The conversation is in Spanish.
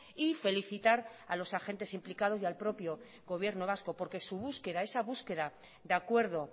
y felicitar a los agentes implicados y al propio gobierno vasco porque su búsqueda esa búsqueda de acuerdo